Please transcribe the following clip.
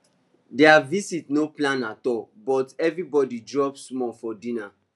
their visit no plan at all but everybody drop small for dinner